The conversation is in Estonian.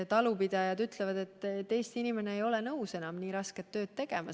Talupidajad ütlevad, et Eesti inimene ei ole enam nõus nii rasket tööd tegema.